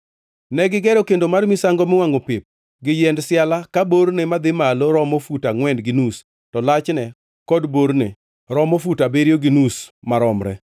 Negigero kendo mar misango miwangʼo pep gi yiend siala ka borne madhi malo romo fut angʼwen gi nus; to lachne kod borne romo fut abiriyo gi nus maromre.